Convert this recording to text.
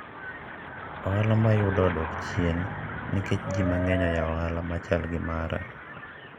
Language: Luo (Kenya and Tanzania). ohala mayudo odok chien nikech ji mang'eny oyawo ohala machal gi mara